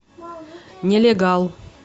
нелегал